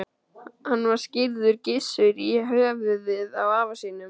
Hann var skírður Gissur, í höfuðið á afa sínum.